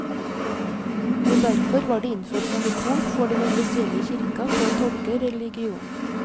Og derfor var det innført monopol for den offisielle kirka på å tolke religionen.